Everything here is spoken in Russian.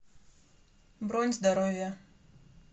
бронь здоровье